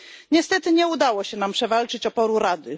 Niestety nie udało się nam się przewalczyć oporu Rady.